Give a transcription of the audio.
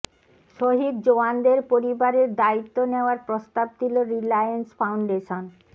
শহিদ জওয়ানদের পরিবারের দায়িত্ব নেওয়ার প্রস্তাব দিল রিলায়েন্স ফাউন্ডেশন